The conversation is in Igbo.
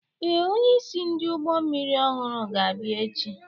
Ee, onyeisi ndị ụgbọ mmiri ọhụrụ ga-abịa echi.